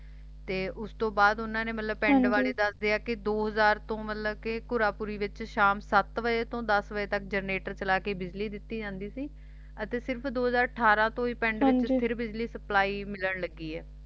ਤੇ ਉਸ ਤੋਂ ਬਾਅਦ ਉਨ੍ਹਾਂ ਨੇ ਮਤਲਬ ਪਿੰਡ ਵਾਲੇ ਦੱਸਦੇ ਆ ਕਿ ਦੋ ਹਜ਼ਾਰ ਤੋਂ ਮਤਲਬ ਘੁਰਾਪੂਰੀ ਵਿਚ ਸ਼ਾਮ ਸੱਤ ਵਜੇ ਤੋਂ ਦਸ ਵਜੇ ਤੱਕ ਜਨਰੇਟਰ ਚਲਾ ਕੇ ਬਿਜਲੀ ਦਿੱਤੀ ਜਾਂਦੀ ਸੀ ਤੇ ਸਿਰਫ ਦੋ ਹਜ਼ਾਰ ਅਠਾਰਾਂ ਤੋਂ ਹੀ ਪਿੰਡ ਵਿਚ ਫਿਰ ਬਿਜਲੀ ਸਪਲਾਈ ਮਿਲਣ ਲੱਗੀ ਹੈ